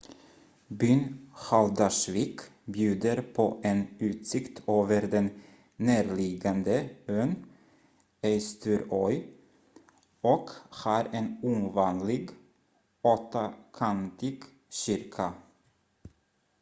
byn haldarsvík bjuder på en utsikt över den närliggande ön eysturoy och har en ovanlig åttakantig kyrka